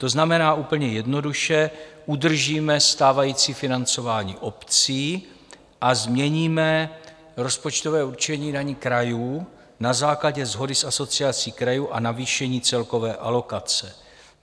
To znamená, úplně jednoduše, udržíme stávající financování obcí a změníme rozpočtové určení daní krajů na základě shody s Asociací krajů a navýšení celkové alokace.